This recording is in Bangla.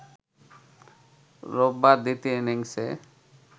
রোববার দ্বিতীয় ইনিংসে